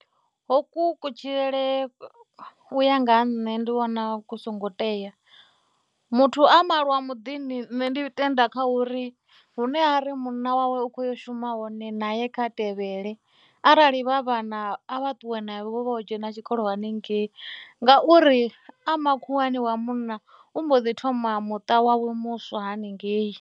Hoku kutshilele u ya nga ha nṋe ndi vhona zwi songo tea, muthu a malwa muḓini ṋne ndi tenda kha uri hune ha ri munna wawe u khou ya u shuma hone na ye kha tevhele, arali vha vhana a vha ṱuwe navho vha yo dzhena tshikolo haningei ngauri a makhuwani wa munna u mbo ḓi thoma muṱa wawe muswa haningei.